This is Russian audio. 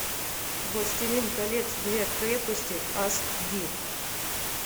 властелин колец две крепости ас ди